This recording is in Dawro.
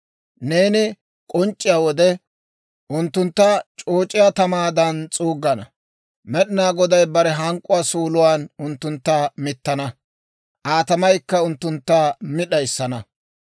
Neeni k'onc'c'iyaa wode, unttuntta c'ooc'iyaa tamaadan s'uuggana. Med'inaa Goday bare hank'k'uwaa suuluwaan unttuntta mittana; Aa tamaykka unttuntta mi d'ayissana.